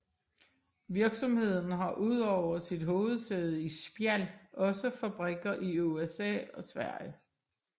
Virksomheden har udover sit hovedsæde i Spjald også fabrikker i USA og Sverige